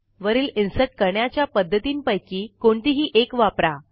वरील इन्सर्ट करण्याच्या पध्दतींपैकी कोणतीही एक वापरा